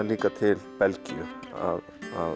líka til Belgíu að